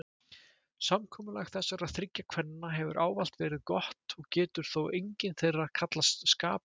Samkomulag þessara þriggja kvenna hefur ávallt verið gott og getur þó engin þeirra kallast skaplaus.